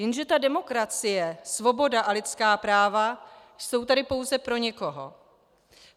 Jenže ta demokracie, svoboda a lidská práva jsou tady pouze pro někoho.